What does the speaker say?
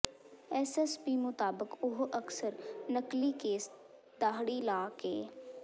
SSP ਮੁਤਾਬਕ ਉਹ ਅਕਸਰ ਨਕਲੀ ਕੇਸ ਦਾਹੜੀ ਲਾ ਕੇ